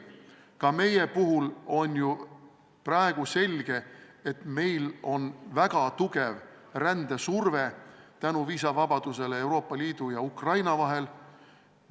Ka meie puhul on ju praegu selge, et meil on väga tugev rändesurve, kuna Euroopa Liidu ja Ukraina vahel kehtib viisavabadus.